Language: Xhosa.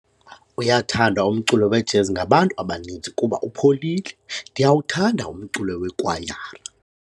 Uyathandwa umculo wejezi ngabantu abaninzi kuba upholile. ndiyawuthanda umculo weekwayara